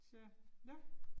Så, nåh